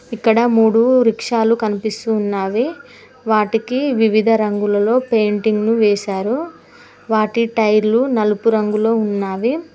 ఇక్కడ మూడు రిక్షాలు కనిపిస్తున్నావే వాటికి వివిధ రంగులలో పెయింటింగ్ వేశారు వాటి టైర్లు నలుపు రంగులో ఉన్నవి.